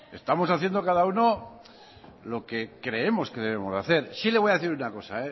estamos haciendo cada uno lo que creemos que debemos hacer sí le voy a decir una cosa